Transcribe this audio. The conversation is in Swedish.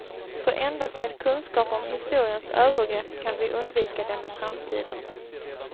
För endast med kunskap om historiens övergrepp kan vi undvika dem i framtiden.